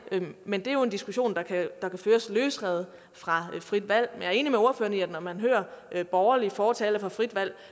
men det er jo en diskussion der kan føres løsrevet fra frit valg jeg er enig med ordføreren at man hører borgerlige fortalere for frit valg